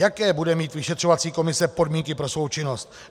Jaké bude mít vyšetřovací komise podmínky pro svou činnost?